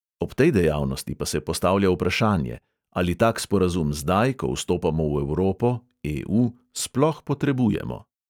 Ob tej dejavnosti pa se postavlja vprašanje: ali tak sporazum zdaj, ko vstopamo v evropo sploh potrebujemo?